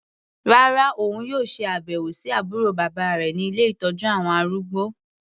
Rárá, òun yóò ṣe àbẹ̀wò sí àbúrò bàbá rẹ̀ ní ilé ìtọ́jú àwọn arúgbó.